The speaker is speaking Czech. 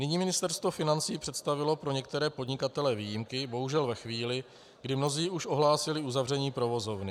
Nyní Ministerstvo financí představilo pro některé podnikatele výjimky, bohužel ve chvíli, kdy mnozí už ohlásili zavření provozovny.